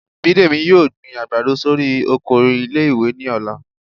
Bídèmí yóò gbín àgbádọ sorí oko ìlé-ìwé ni ọlà